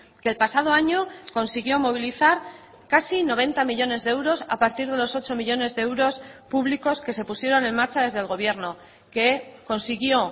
que el pasado año consiguió movilizar casi noventa millónes de euros a partir de los ocho millónes de euros públicos que se pusieron en marcha desde el gobierno que consiguió